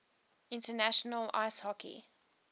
international ice hockey